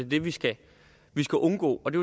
det vi skal skal undgå og det